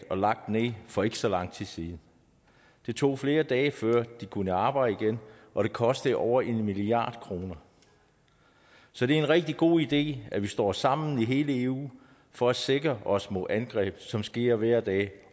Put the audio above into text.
og lagt ned for ikke så lang tid siden det tog flere dage før de kunne arbejde igen og det kostede over en milliard kroner så det er en rigtig god idé at vi står sammen i hele eu for at sikre os mod angreb som sker hver dag